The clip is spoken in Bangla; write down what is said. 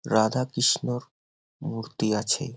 রাধা কৃষ্ণর মূর্তি আছে।